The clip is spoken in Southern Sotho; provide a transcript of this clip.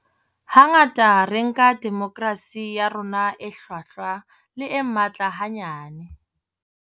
Hangata re nka demokerasi ya rona e hlwahlwa le e matla hanyane.